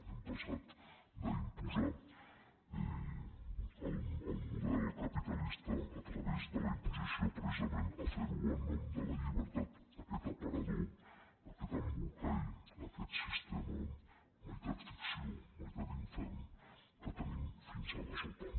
hem passat d’imposar el model capitalista a través de la imposició precisament a fer ho en nom de la llibertat aquest aparador aquest embolcall aquest sistema meitat ficció meitat infern que tenim fins a la sopa